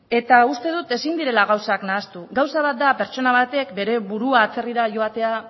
eta uste dut ezin direla gauzak nahastu gauza bat da pertsona batek bere burua atzerrira joatera